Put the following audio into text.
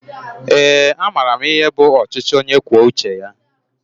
Ee a maara m ihe bụ ọchịchị ónyé kwụọ uche ya